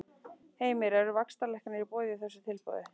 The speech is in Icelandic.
Heimir: Eru vaxtalækkanir í boði í þessu tilboði?